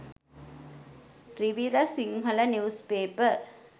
rivira sinhala news paper